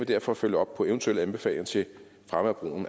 derfor følge op på eventuelle anbefalinger til fremme